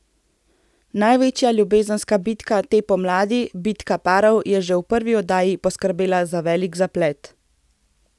Največja ljubezenska bitka te pomladi Bitka parov je že v prvi oddaji poskrbela za velik zaplet.